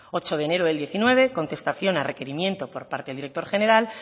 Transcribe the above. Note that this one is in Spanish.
ocho de enero del diecinueve contestación a requerimiento por parte del director general